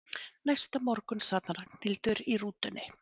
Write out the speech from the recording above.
Næsta morgun sat Ragnhildur í rútunni.